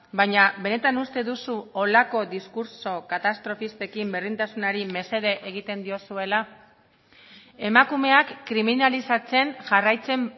baina benetan uste duzu holako diskurtso katastrofistekin berdintasunari mesede egiten diozuela emakumeak kriminalizatzen jarraitzen